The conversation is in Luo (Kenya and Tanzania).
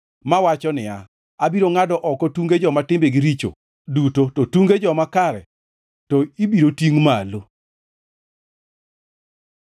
mawacho niya, “Abiro ngʼado oko tunge joma timbegi richo duto, to tunge joma kare to ibiro tingʼ malo.”